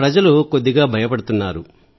ప్రజలు కొద్దిగా భయపడుతున్నారు